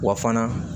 Wa fana